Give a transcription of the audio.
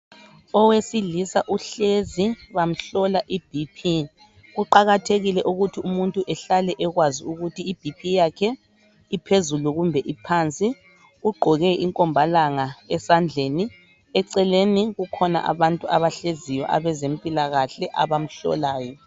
Owesilisa uhlezi bamhlola ibhiphi . Kuqakathekile ukuthi umuntu ehlale ekwazi ukuthi ibhiphi yakhe iphezulu kumbe iphansi ugqoke inkomalanga esandleni eceleni kukhona abantu abahleziyo abezimpilakahle abamhlolayo.